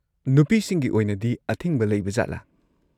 ꯅꯨꯄꯤꯁꯤꯡꯒꯤ ꯑꯣꯏꯅꯗꯤ ꯑꯊꯤꯡꯕ ꯂꯩꯕꯖꯥꯠꯂꯥ?